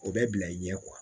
O bɛ bila i ɲɛ